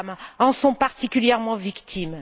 Les femmes en sont particulièrement victimes.